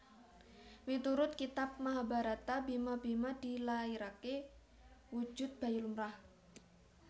Miturut Kitab Mahabharata Bima Bhima dilairaké wujud bayi lumrah